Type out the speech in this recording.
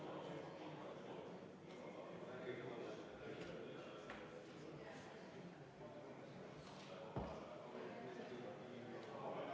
Palun EKRE fraktsiooni nimel panna see muudatusettepanek hääletusele ja enne võtta ka kümme minutit vaheaega.